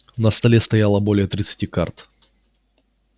на столе стояло более тридцати карт